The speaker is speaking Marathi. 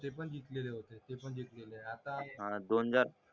ते पण जिंकलेले होते ते पण जिंकलेले आता हा दोन जर